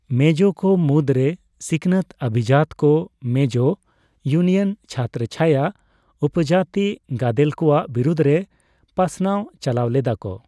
ᱢᱮᱡᱳ ᱠᱚ ᱢᱩᱫ ᱨᱮ ᱥᱤᱠᱱᱟᱹᱛ ᱚᱵᱷᱤᱡᱟᱛ ᱠᱚ ᱢᱮᱡᱳ ᱩᱭᱱᱤᱭᱟᱱ ᱪᱷᱚᱛᱨᱚ ᱪᱷᱟᱭᱟ ᱩᱯᱚᱡᱟᱛᱤ ᱜᱟᱰᱮᱞ ᱠᱚᱣᱟᱜ ᱵᱤᱨᱩᱫ ᱨᱮ ᱯᱟᱥᱱᱟᱣ ᱪᱟᱞᱟᱣ ᱞᱮᱫᱟ ᱠᱚ ᱾